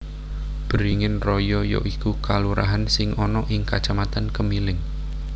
Beringin Raya ya iku kalurahan sing ana ing Kacamatan Kemiling